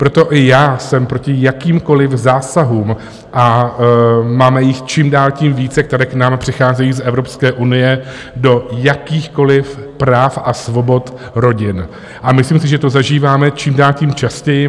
Proto i já jsem proti jakýmkoliv zásahům, a máme jich čím dál tím více, které k nám přicházejí z Evropské unie do jakýchkoliv práv a svobod rodin, myslím si, že to zažíváme čím dál tím častěji.